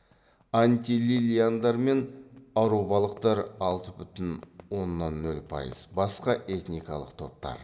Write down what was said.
антилилиандар мен арубалықтар алты бүтін оннан нөл пайыз басқа этникалық топтар